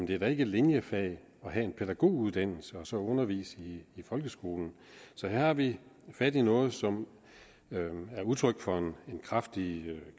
det er da ikke linjefag at have en pædagoguddannelse og så undervise i folkeskolen så her har vi fat i noget som er udtryk for en kraftig